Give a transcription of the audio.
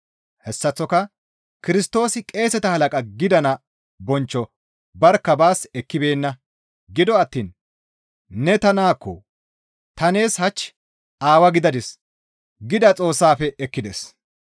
Hessaththoka Kirstoosi qeeseta halaqa gidana bonchcho barkka baas ekkibeenna; gido attiin, «Ne ta naakko; ta nees hach Aawaa gidadis» gida Xoossaafe ekkides.